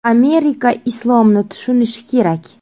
Amerika islomni tushunishi kerak.